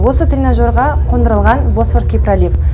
осы тренажерға қондырылған босфорский пролив